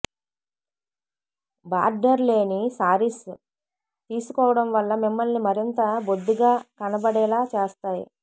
border లేని శారీస్ తీసుకోవడం వల్ల మిమ్మల్ని మరింత బొద్దుగా కనపడేలా చేస్తాయి